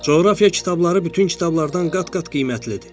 Coğrafiya kitabları bütün kitablardan qat-qat qiymətlidir.